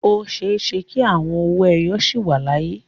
O ṣeé ṣe kí àwọn owó ẹyọ sì wà láyé.